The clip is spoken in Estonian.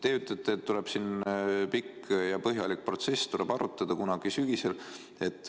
Te ütlete, et tuleb pikk ja põhjalik protsess, asja arutatakse kunagi sügisel.